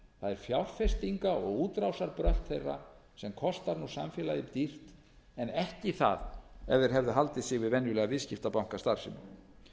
fjárfestinga og útrásarbrölt þeirra sem kostar nú samfélagið dýrt en ekki það ef þeir hefðu haldið sig við venjulega viðskiptabankastarfsemi